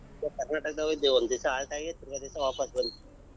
ಕರ್ನಾಟಕ ಹೊಗಿದವಿ ಒಂದಿವಸ halt ಆಗಿ ತಿರಗ ದಿವ್ಸ ವಾಪಸ್ ಬಂದ್ವಿ.